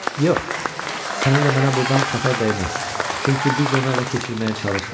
Yox, sənə də mənə də burdan xətər dəyməz, çünki biz onu ələ keçirməyə çalışmırıq.